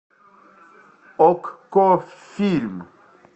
окко фильм